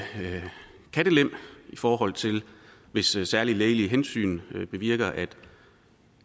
kattelem i forhold til hvis særlige lægelige hensyn bevirker at